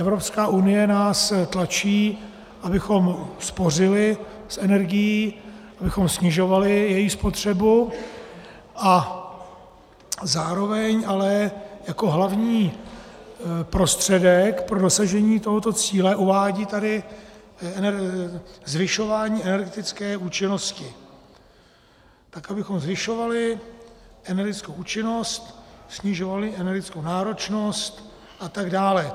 Evropská unie nás tlačí, abychom spořili s energií, abychom snižovali její spotřebu, a zároveň ale jako hlavní prostředek pro dosažení tohoto cíle uvádí tady zvyšování energetické účinnosti - tak abychom zvyšovali energetickou účinnost, snižovali energetickou náročnost a tak dále.